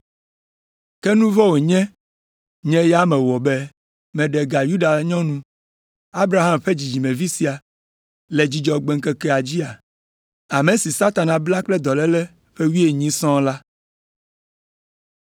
Ke nu vɔ̃ wònye nye ya mewɔ be meɖe ga Yuda nyɔnu, Abraham ƒe dzidzimevi sia, le Dzudzɔgbe ŋkeke dzia? Ame si Satana bla kple dɔléle ƒe wuienyi sɔŋ la?”